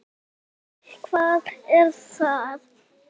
Linda: Og hvað er það?